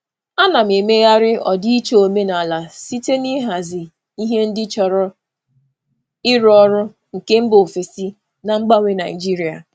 Ana m emegharị ọdịiche omenala site n'ịhazi ihe ndị chọrọ ịrụ ọrụ nke mba ofesi na mgbanwe Nigeria.